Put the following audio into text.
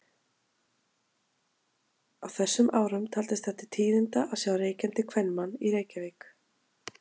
Á þessum árum taldist það til tíðinda að sjá reykjandi kvenmann í Reykjavík.